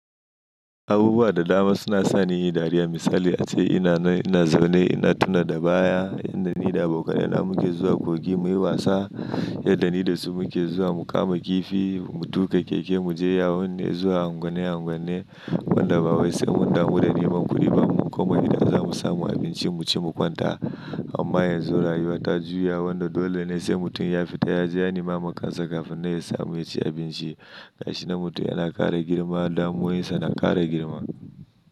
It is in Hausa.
Abubuwa da dama suna sani yin dariya. Misali ace ina nan, ina zaune ina tuna da baya yadda ni da abokai na muke zuwa kogi muyi wasa, yadda ni da su muke zuwa mu kama kifi, mu tuka keke mu je yawon, muje zuwa anguane-anguane munda babu wasi, munda huda nema kuriba mu komai idan za mu samu abinci mu ci mu kwanta. Amma yanzu rayuwa ta juya wando dole ne sai mutum ya fita ya je ya nema kansa kafin nan ya samu yaci abinci. Gashi nan mutum yana kara girma damuwoyin sa na kara girma.